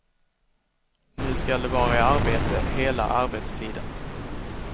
Nu skall de vara i arbete hela arbetstiden.